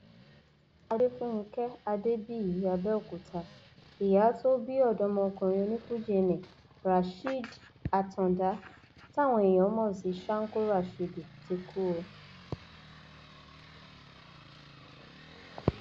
adéfúnge adébíyí abẹọkúta ìyá tó bí ọdọmọkùnrin onífuji nni rasheed àtàǹdá táwọn èèyàn mọ sí shanko rásidì ti kú o